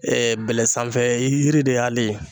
bɛlɛ sanfɛ yiri de y'ale.